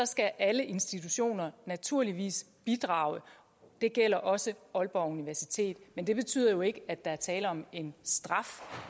skal alle institutioner naturligvis bidrage og det gælder også aalborg universitet men det betyder jo ikke at der er tale om en straf